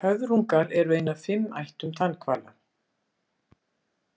Höfrungar eru ein af fimm ættum tannhvala.